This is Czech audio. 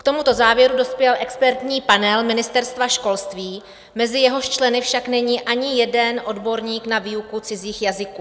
K tomuto závěru dospěl expertní panel Ministerstva školství, mezi jehož členy však není ani jeden odborník na výuku cizích jazyků.